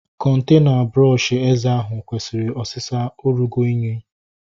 Kọntena brọọshi eze ahụ kwesịrị osịsa. Ọ rụgo unyi